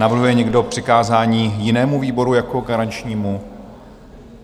Navrhuje někdo přikázání jinému výboru jako garančnímu?